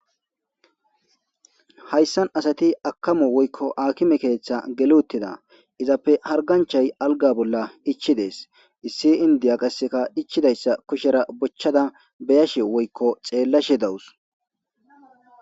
Hayssan asati akamo woykko akime keeththa geluttida izappe harganchay alga bolla dhichidees issi indiya qasseka dhichidayssa kushera bochchada beyashe woykko xeellashe dawus.